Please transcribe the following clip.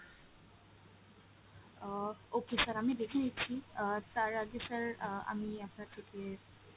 আহ okay sir আমি দেখে নিচ্ছি আহ তার আগে sir আহ আমি আপনার থেকে